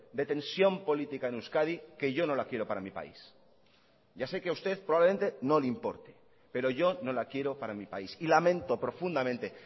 de tensión política en euskadi que yo no la quiero para mi país ya sé que a usted probablemente no le importe pero yo no la quiero para mi país y lamento profundamente